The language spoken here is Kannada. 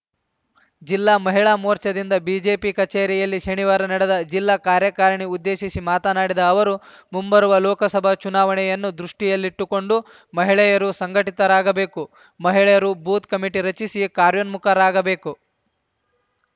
ಜಿಲ್ಲಾ ಮಹಿಳಾ ಮೋರ್ಚಾದಿಂದ ಬಿಜೆಪಿ ಕಚೇರಿಯಲ್ಲಿ ಶನಿವಾರ ನಡೆದ ಜಿಲ್ಲಾ ಕಾರ್ಯಕಾರಿಣಿ ಉದ್ದೇಶಿಸಿ ಮಾತನಾಡಿದ ಅವರು ಮುಂಬರುವ ಲೋಕಸಭಾ ಚುನಾವಣೆಯನ್ನು ದೃಷ್ಟಿಯಲ್ಲಿಟ್ಟುಕೊಂಡು ಮಹಿಳೆಯರು ಸಂಘಟಿತರಾಗಬೇಕು ಮಹಿಳೆಯರು ಬೂತ್‌ ಕಮಿಟಿ ರಚಿಸಿ ಕಾರ್ಯೋನ್ಮುಖರಾಗಬೇಕು